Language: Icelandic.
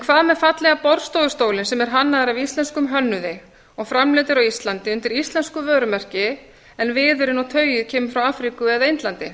hvað með fallega borðstofustólinn sem er hannaður af íslenskum hönnuði og framleiddur á íslandi undir íslensku vörumerki en viðurinn og tauið kemur frá afríku eða indlandi